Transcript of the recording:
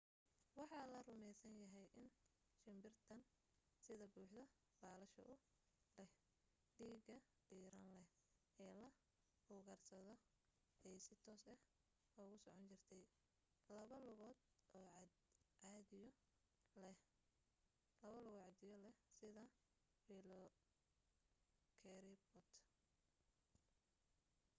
waxa la rumaysan yahay in shimbirtan sida buuxda baalasha u leh dhiiga diiran leh ee la ugaadhsado ay si toos ah ugu socon jirtay laba lugood oo ciddiyo leh sida velociraptor